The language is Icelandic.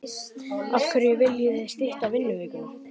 Af hverju viljið þið stytta vinnuvikuna?